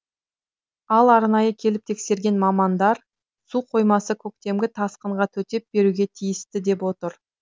ал арнайы келіп тексерген мамандар су қоймасы көктемгі тасқынға төтеп беруге тиісті деп отыр